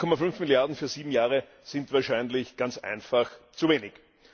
2,5 Milliarden für sieben Jahre sind wahrscheinlich ganz einfach zu wenig.